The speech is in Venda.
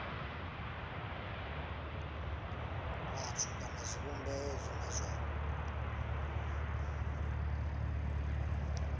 vhathu kana zwivhumbeo zwine zwa